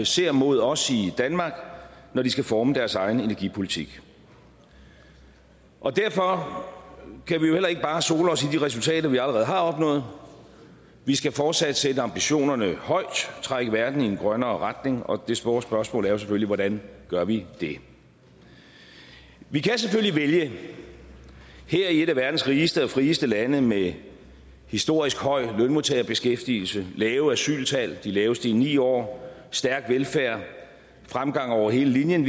ser mod os i danmark når de skal forme deres egen energipolitik og derfor kan vi heller ikke bare sole os i de resultater vi allerede har opnået vi skal fortsat sætte ambitionerne højt og trække verden i en grønnere retning og det store spørgsmål er selvfølgelig hvordan gør vi det vi kan selvfølgelig vælge her i et af verdens rigeste og frieste lande med historisk høj lønmodtagerbeskæftigelse lave asyltal de laveste i ni år stærk velfærd og fremgang over hele linjen